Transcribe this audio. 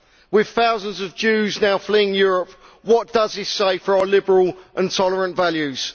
With thousands of Jews now fleeing Europe, what does this say for our liberal and tolerant values?